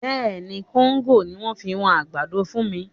Bẹ́ẹ̀ ni, kóńgò ni wọ́n fi wọn àgbàdo fún mi